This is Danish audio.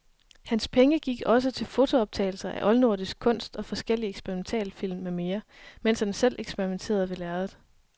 Hans penge gik også til fotooptagelser af oldnordisk kunst og forskellige eksperimentalfilm med mere, mens han selv eksperimenterede ved lærredet.